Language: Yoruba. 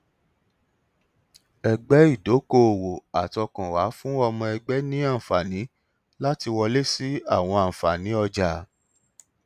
ẹgbẹ ìdókòòwò àtọkànwá fún ọmọ ẹgbẹ ní àǹfààní láti wọlé sí àwọn àǹfààní ọjà